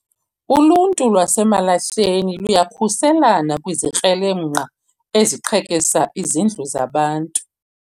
Uluntu lwaseMalahleni luyakhuselana kwizikrelemnqa eziqhekeza izindlu zabantu